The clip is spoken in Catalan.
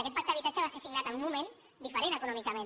aquest pacte d’habitatge va ser signat en un moment diferent econòmicament